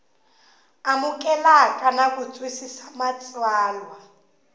amukeleka na ku twisisa matsalwa